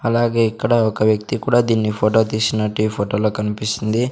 అలాగే ఇక్కడ ఒక వ్యక్తి కూడా దీన్ని ఫోటో తీసినట్టు ఈ ఫొటో లో కనిపిస్తుంది.